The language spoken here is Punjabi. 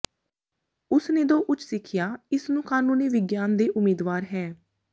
ਉਸ ਨੇ ਦੋ ਉੱਚ ਸਿੱਖਿਆ ਇਸ ਨੂੰ ਕਾਨੂੰਨੀ ਵਿਗਿਆਨ ਦੇ ਉਮੀਦਵਾਰ ਹੈ